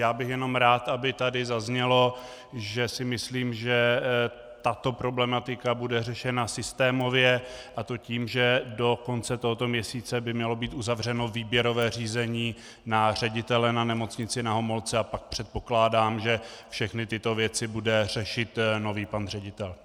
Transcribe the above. Já bych jenom rád, aby tato zaznělo, že si myslím, že tato problematika bude řešena systémově, a to tím, že do konce tohoto měsíce by mělo být uzavřeno výběrové řízení na ředitele na Nemocnici Na Homolce, a pak předpokládám, že všechny tyto věci bude řešit nový pan ředitel.